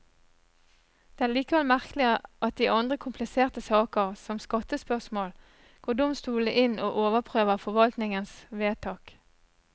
Det er likevel merkelig at i andre kompliserte saker, som skattespørsmål, går domstolene inn og overprøver forvaltningens vedtak.